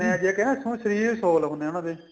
ਜਾਣੇ ਏ ਜੇ ਕਹਿਨੇ ਏ ਹੁਣ ਸ਼ਰੀਰ ਸੋਹਲ ਹੁੰਨੇ ਏ ਉਹਨਾ ਦੇ